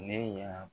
Ne y'a